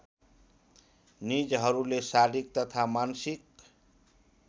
निजहरूले शारीरिक तथा मानसिक